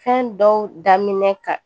Fɛn dɔw daminɛ ka